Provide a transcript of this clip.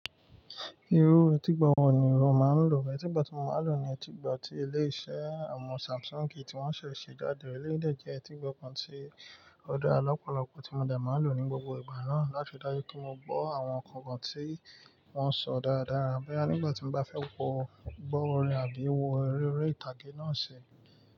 Irú etígbo wọ̀ ni o máa n lò? Etígbo tí mo máa n lò ni etígbà tí ilé iṣẹ́ awọ́n Samsung tí wọn ṣese ṣẹ̀ jádé. Eléyii dè jẹ́ etígbo kan tí ọdara lọ́pọ̀lọ́pọ̀ tí mo de máa n lò ní gbogbo ìgbà náà láti ri dájú pé mo gbó àwọn nǹkan kan tí wọ́n sọ dáradára. Boya nígbà tí mo bá fẹ́ wo gbó orin àbí wo eré orí ìtàgé náà ṣi.